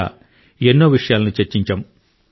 ఇలా ఎన్నో విషయాలను చర్చించాం